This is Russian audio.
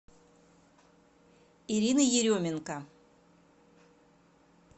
ирины еременко